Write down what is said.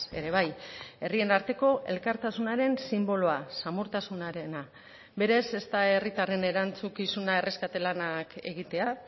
ere bai herrien arteko elkartasunaren sinboloa samurtasunarena berez ez da herritarren erantzukizuna erreskate lanak egitea